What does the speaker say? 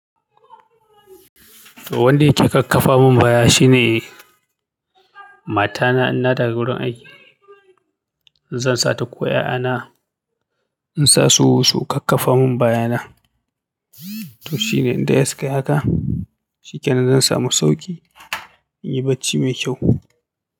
To wanda yake kakkafa mun baya shine mata na inna dawo gurin aiki. Zan sa ta ko 'ya'ya na in sa su su kakkafa mun bayana. To shine idan ya saka haka shikenan zan samu sauƙi in yi bacci mai kyau.